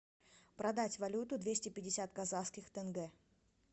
продать валюту двести пятьдесят казахских тенге